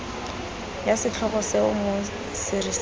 ya setlhogo seo mo serising